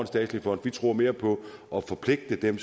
statslig fond vi tror mere på at forpligte dem